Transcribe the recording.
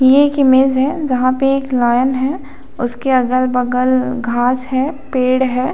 ये एक इमेज है जहां पे एक लॉयन है उसके अगल बगल घास है पेड़ है।